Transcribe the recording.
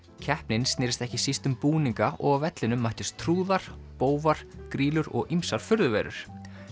keppnin snerist ekki síst um búninga og á vellinum mættust trúðar bófar grýlur og ýmsar furðuverur